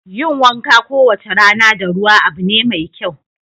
Yin wanka kowace rana da ruwa abu ne mai kyau.